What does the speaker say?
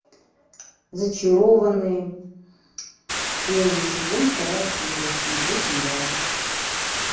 зачарованные первый сезон вторая серия смотреть онлайн